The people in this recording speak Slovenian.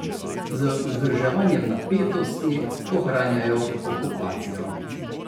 Z vzdrževanjem napetosti ohranjajo okupacijo.